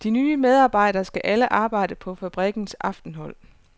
De nye medarbejdere skal alle arbejde på fabrikkens aftenhold.